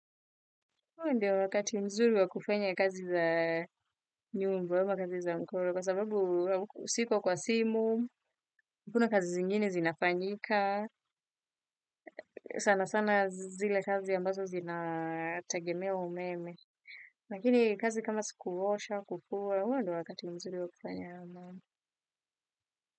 Huo ndiyo wakati mzuri wa kufanya kazi za nyumba ama kazi za mkono kwa sababu siko kwa simu, hakuna kazi zingine zinafanyika, sana sana zile kazi ambazo zinatagemea umeme. Lakini kazi kama sikuosha, kufua, huo ndiyo wakati mzuri wa kufanya.